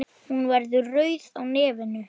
Þetta var gott fólk.